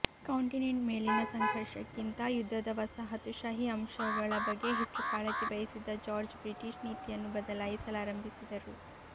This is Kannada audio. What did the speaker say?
ಕಾಂಟಿನೆಂಟ್ ಮೇಲಿನ ಸಂಘರ್ಷಕ್ಕಿಂತ ಯುದ್ಧದ ವಸಾಹತುಶಾಹಿ ಅಂಶಗಳ ಬಗ್ಗೆ ಹೆಚ್ಚು ಕಾಳಜಿ ವಹಿಸಿದ ಜಾರ್ಜ್ ಬ್ರಿಟಿಷ್ ನೀತಿಯನ್ನು ಬದಲಾಯಿಸಲಾರಂಭಿಸಿದರು